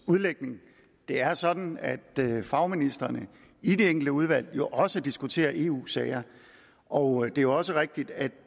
udlægning det er sådan at fagministrene i de enkelte udvalg jo også diskuterer eu sager og det er også rigtigt at